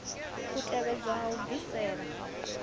u tevhelwa ya u bvisela